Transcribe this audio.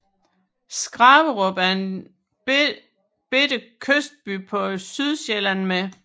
Skraverup er en lille kystby på Sydsjælland med